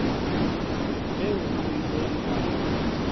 eo o ileng wa e